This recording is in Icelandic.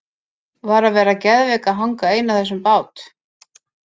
Var að vera geðveik að hanga ein á þessum bát!